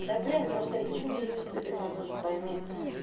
да блин я просто почему завис ты то меня тоже пойми